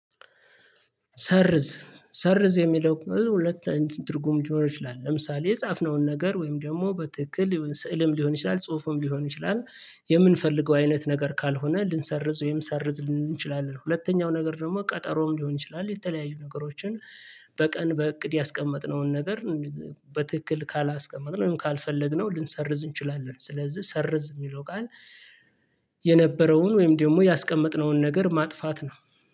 ሰርዝ ሰርዝ የሚለው ሁለት እንትን ትርጉም ሊኖረው ይችላል ለምሳሌ የጻፍነውን ነገር ወይም ደግሞ በትክክል ስዕልም ሊሆን ይችላል ጽሁፉም ሊሆን ይችላል የምንፈልገው አይነት ነገር ካልሆነ ልንሰርዝ ወይም ሰርዝ ልንል እንችላለን። ሁለተኛው ነገር ደግሞ ቀጠሮም ሊሆን ይችላል የተለያዩ ነገሮችን። በቀን በእቅድ ያስቀመጥነውን ነገር። በትክክል ካላስቀመጥን ካልፈለግነው ልንሰርዝ እንችላለን። ስለዚህ ሰርዝ የሚለው ቃል። የነበረውን ወይም ደግሞ ያስቀመጥነውን ነገር ማጥፋት ነው